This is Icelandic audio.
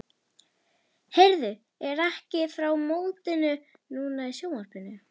Heyrðu, er ekki frá mótinu núna í sjónvarpinu?